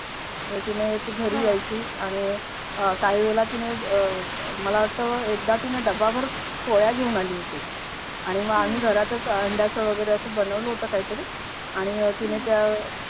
तर तिने ती घरी यायची आणि अह काही वेळेला तिने अह मला वाटतं डब्बभर पोळ्या घेऊन आली होती आणि मग आम्ही घरातच अंड्याच वगैरे अस बनवलं होतं काहीतरी आणि तिने त्या